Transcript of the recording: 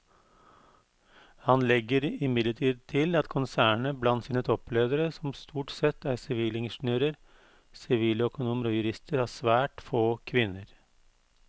Han legger imidlertid til at konsernet blant sine toppledere som stort sette er sivilingeniører, siviløkonomer og jurister har svært få kvinner.